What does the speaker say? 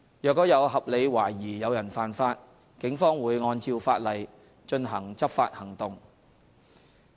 若有合理懷疑有人犯法，警方會按照法例進行執法行動。